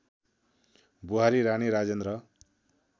बुहारी रानी राजेन्द्र